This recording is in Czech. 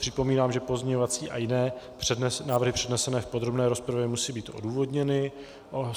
Připomínám, že pozměňovací a jiné návrhy přednesené v podrobné rozpravě musí být odůvodněny.